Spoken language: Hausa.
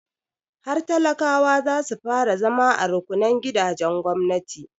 Har talakawa za su fara zama a rukunnan gidajen gwamnati.